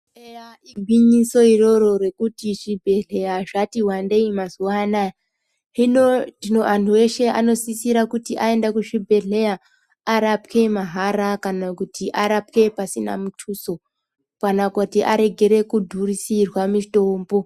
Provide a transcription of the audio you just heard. Eya igwinyiso iroro rekuti zvibhedhleya zvati wandei mazuwa anaya. Hino anhu eshe anosisire kuti arapwe mahara kana arapwe pasina mutuso kana kuti aregere kudhurisirwa mitombo.